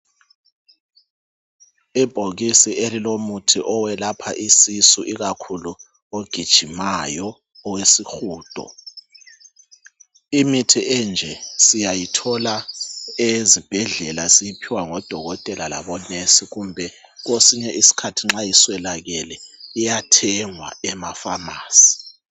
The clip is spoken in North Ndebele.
Ibhokisi elilomuthi owelapha isisu, ikakhulu ogijimayo owesihudo. Imithi enje siyayithola ezibhedlela siyiphiwa ngodokotela labonesi, kumbe kwesiny' iskhathi nxa iswelakele iyathengwa emafamasi.